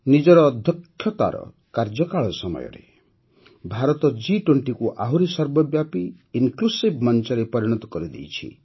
ନିଜର ଅଧ୍ୟକ୍ଷତାର କାର୍ଯ୍ୟକାଳ ସମୟରେ ଭାରତ ଜି୨୦କୁ ଆହୁରି ସର୍ବବ୍ୟାପୀ ଇନ୍କ୍ଲୁସିଭ ମଂଚରେ ପରିଣତ କରିଦେଇଛି